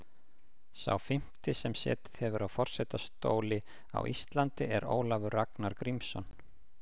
Sá fimmti sem setið hefur á forsetastóli á Íslandi er Ólafur Ragnar Grímsson.